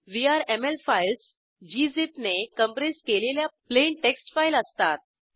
VRML files gzip ने compress केलेल्या plain text file असतात